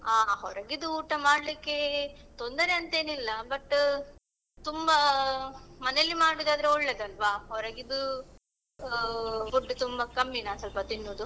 ಹಾ ಹೊರಗಿದು ಊಟ ಮಾಡ್ಲಿಕ್ಕೆ ತೊಂದರೆ ಅಂತೇನಿಲ್ಲ but ತುಂಬಾ ಮನೆಯಲ್ಲಿ ಮಾಡುದಾದ್ರೆ ಒಳ್ಳೆಯದಲ್ವಾ ಹೊರಗಿದು ಆ food ತುಂಬಾ ಕಮ್ಮಿ ನಾನು ಸ್ವಲ್ಪ ತಿನ್ನುದು.